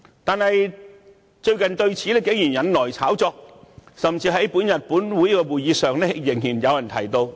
但是，最近此事竟然引來炒作，甚至在今天本會的會議上仍被人提到。